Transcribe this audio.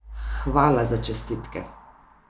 Hvala za čestitke.